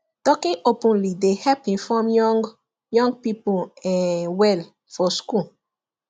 talking openly dey help inform young young people um well for school